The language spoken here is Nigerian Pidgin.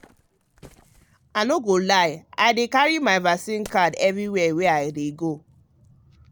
i no go lie i dey carry my vaccine card everywhere i go.